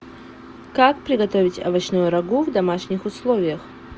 как приготовить овощное рагу в домашних условиях